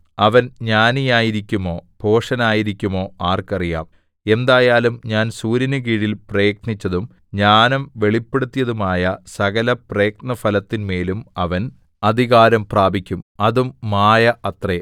അവൻ ജ്ഞാനിയായിരിക്കുമോ ഭോഷനായിരിക്കുമോ ആർക്കറിയാം എന്തായാലും ഞാൻ സൂര്യന് കീഴിൽ പ്രയത്നിച്ചതും ജ്ഞാനം വെളിപ്പെടുത്തിയതുമായ സകലപ്രയത്നഫലത്തിന്മേലും അവൻ അധികാരം പ്രാപിക്കും അതും മായ അത്രേ